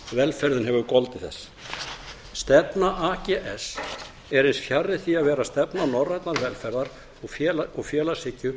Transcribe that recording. velferðin hefur gildir þess stefna ags er eins fjarri því að vera stefna norrænnar velferðar og félagshyggju